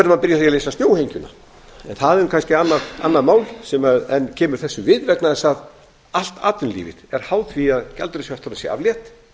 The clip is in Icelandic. að leysa snjóhengjuna en það er kannski annað mál en kemur þessu við vegna þess að allt atvinnulífið er háð því að gjaldeyrishöftunum sé aflétt